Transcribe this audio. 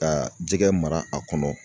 Ka jɛgɛ mara a kɔnɔ